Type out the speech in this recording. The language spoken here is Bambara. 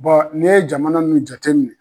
ne ye jamana min jateminɛ.